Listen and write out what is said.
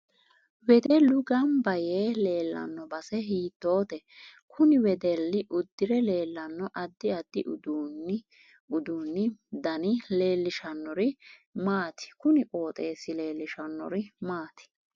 Wedellu ganba yee leelanno base hiitoote kuni wedelli udire leelanno addi addi uduunu dani leelishanori maati kuni qoxeesi leelishanori maati